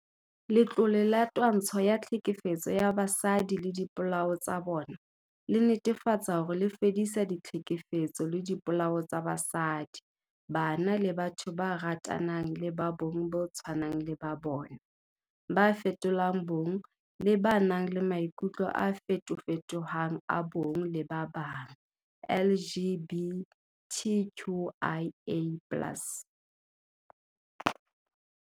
Letlole la Twantsho ya Tlhekefetso ya Basadi le Dipolao tsa bona le netefatsa hore le fedisa ditlhekefetso le dipolao tsa basadi, bana le batho ba ratanang le ba bong bo tshwanang le ba bona, ba fetolang bong le ba nang le maikutlo a feto-fetohang a bong le ba bang, LGBTQIA+.